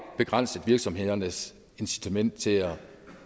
begrænset virksomhedernes incitament til